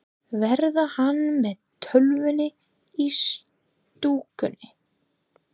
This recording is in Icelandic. Verður hann með Tólfunni í stúkunni?